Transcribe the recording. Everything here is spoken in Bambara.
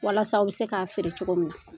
Walasa a bɛ se k'a feere cogo min na.